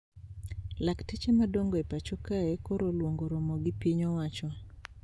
Lakteche madongo e pacho kae koro oluongo romo gi piny owacho